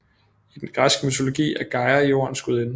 I den græske mytologi er Gaia jordens gudinde